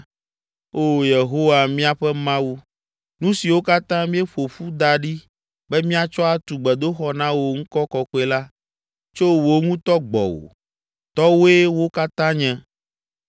Oo, Yehowa, míaƒe Mawu, nu siwo katã míeƒo ƒu da ɖi be míatsɔ atu gbedoxɔ na wò ŋkɔ kɔkɔe la, tso wò ŋutɔ gbɔwò! Tɔwòe wo katã nye!